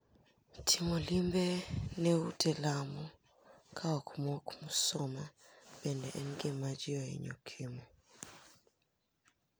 Timo limbe ne ute lamo ka omok msuma bende en gima ji hinyo timo.